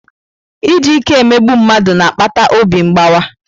Iji ike emegbu mmadụ na-akpata obi mgbawa.